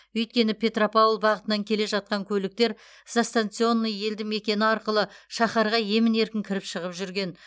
өйткені петропавл бағытынан келе жатқан көліктер застационный елді мекені арқылы шаһарға емін еркін кіріп шығып жүрген